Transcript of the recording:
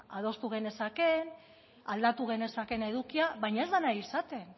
adostu genezakeen aldatu genezakeen edukia baina ez da nahi izaten